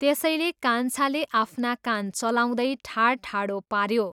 त्यसैले कान्छाले आफ्ना कान चलाउँदै ठाडठाडो पाऱ्यो।